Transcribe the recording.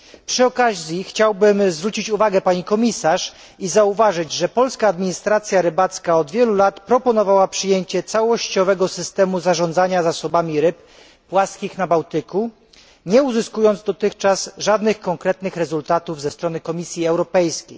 Przy okazji chciałbym zwrócić uwagę pani komisarz i zauważyć, że polska administracja rybacka już od wielu lat proponowała przyjęcie całościowego systemu zarządzania zasobami ryb płaskich na Bałtyku, nie uzyskując dotychczas żadnych konkretnych rezultatów ze strony Komisji Europejskiej.